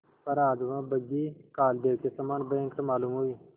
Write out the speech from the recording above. पर आज वह बग्घी कालदेव के समान भयंकर मालूम हुई